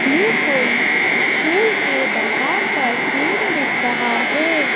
ये कोई स्कूल के बाहर का सीन दिख रहा है।